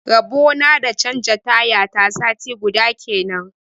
Rabona da na canja taya ta sati guda kenan.